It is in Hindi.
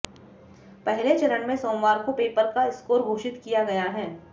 पहले चरण में सोमवार को पेपर का स्कोर घोषित किया गया है